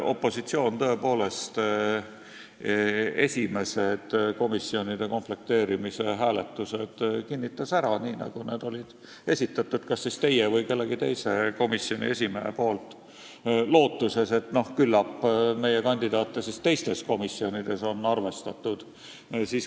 Opositsioon tõepoolest esimesed komisjonide komplekteerimised kinnitas hääletusel ära, nii nagu need koosseisud olid esitatud kas teie või kellegi teise komisjoni esimehe poolt, lootuses, et küllap nende kandidaate on teistes komisjonides arvestatud.